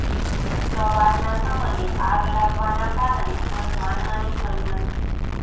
સવારના સમયે આગ લાગવાના કારણે કોઇ જાનહાનિ થઇ નથી